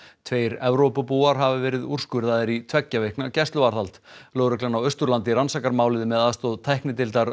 tveir Evrópubúar hafa verið úrskurðaðir í tveggja vikna gæsluvarðhald lögreglan á Austurlandi rannsakar málið með aðstoð tæknideildar